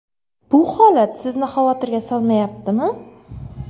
Bu holat Sizni xavotirga solmayaptimi?